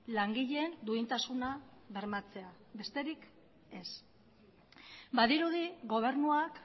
langileen duintasuna bermatzea besterik ez badirudi gobernuak